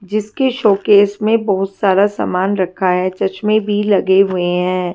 जिसके शोकेस मे बहुत सारा सामान रखा है चश्मे भी लगे हुए है।